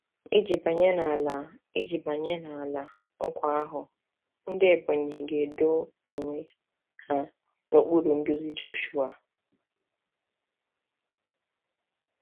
Iji banye n’Ala Iji banye n’Ala Nkwa ahụ, ndị Ebonyi ga-edo onwe ha n’okpuru nduzi Joshua.